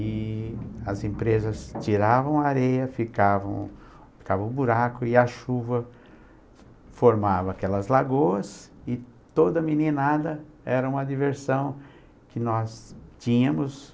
E as empresas tiravam a areia, ficava ficava o buraco e a chuva formava aquelas lagoas e toda meninada era uma diversão que nós tínhamos.